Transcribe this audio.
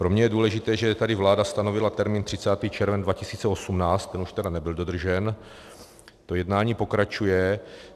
Pro mě je důležité, že tady vláda stanovila termín 30. červen 2018, ten už tedy nebyl dodržen, to jednání pokračuje.